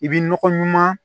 I bi nɔgɔ ɲuman